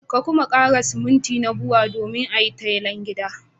Ka kuma kara siminti na Bua domin a yi tayal gidan.